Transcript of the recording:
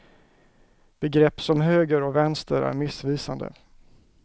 Begrepp som höger och vänster är missvisande.